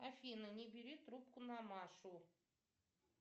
афина не бери трубку на машу